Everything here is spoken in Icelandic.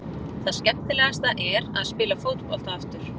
Það skemmtilegasta er að spila fótbolta aftur.